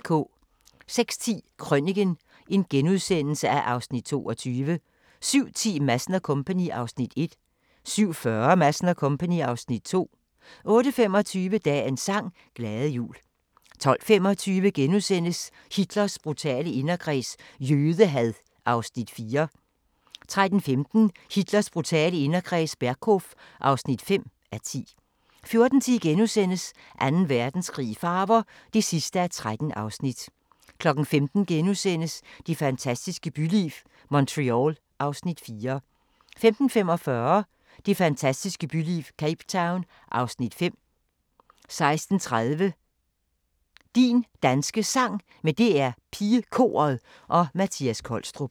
06:10: Krøniken (Afs. 22)* 07:10: Madsen & Co. (Afs. 1) 07:40: Madsen & Co. (Afs. 2) 08:25: Dagens sang: Glade jul 12:25: Hitlers brutale inderkreds – jødehad (4:10)* 13:15: Hitlers brutale inderkreds – Berghof (5:10) 14:10: Anden Verdenskrig i farver (13:13)* 15:00: Det fantastiske byliv – Montreal (Afs. 4)* 15:45: Det fantastiske byliv – Cape Town (Afs. 5) 16:30: Din Danske Sang med DR PigeKoret og Mattias Kolstrup